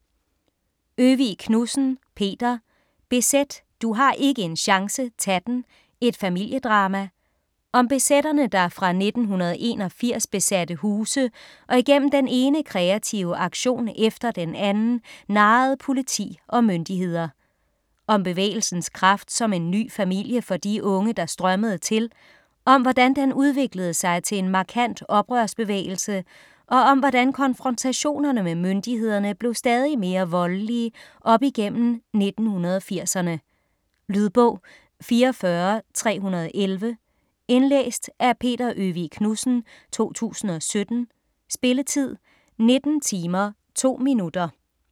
Øvig Knudsen, Peter: BZ: du har ikke en chance - tag den!: et familiedrama Om BZ'erne der fra 1981 besatte huse og igennem den ene kreative aktion efter den anden narrede politi og myndigheder. Om bevægelsens kraft som en ny familie for de unge, der strømmede til, om hvordan den udviklede sig til en markant oprørsbevægelse, og om hvordan konfrontationerne med myndighederne blev stadig mere voldelige op igennem 1980'erne. Lydbog 44311 Indlæst af Peter Øvig Knudsen, 2017. Spilletid: 19 timer, 2 minutter.